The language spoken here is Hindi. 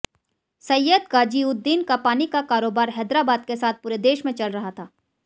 सैय्यद गाजीउद्दीन का पानी का कारोबार हैदराबाद के साथ पूरे देश में चल रहा था